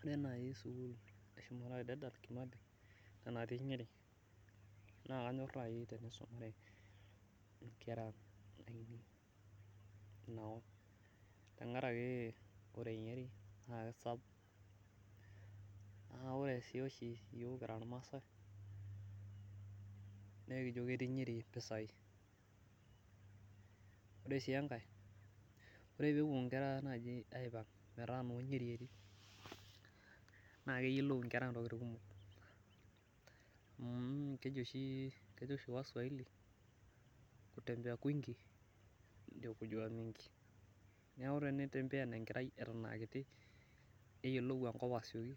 Ore naaji sukuul e dedan kimathi ena natii nyeri, naa kanyor naji tenisumare nkera ainei Ina kop, tenkaraki, ore nyeri naa kisapuk, naa ore sii oshi iyiook kira irmaasae, nee wkijo ketii nyeri mpisai, ore sii enkae, ore peepuo nkera naaji aipanga, metaa noo nyeri etii naa keyiolou nkera ntokitin nkumok amu kejo oshi waswaiki kutembea kwingi ndio kujua mingi neeku teneitembean enkerai eton aa kiti neyiolou enkop Eton aa kiti,